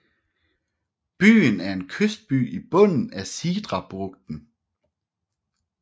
Byen er en kystby i bunden af Sidrabugten